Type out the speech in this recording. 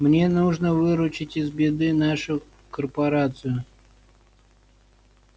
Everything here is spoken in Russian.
мне нужно выручить из беды нашу корпорацию